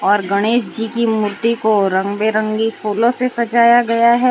और गणेश जी की मूर्ति को रंग बिरंगी फूलों से सजाया गया है।